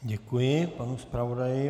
Děkuji panu zpravodaji.